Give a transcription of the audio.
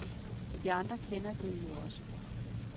De andre kender det jo også.